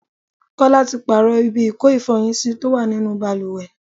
Kọ́lá tí pààrọ̀ ibi ìko ifọyin sí tó wà nínú bàlùwẹ̀.